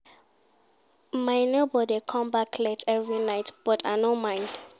My nebor dey come back late every night but I no mind.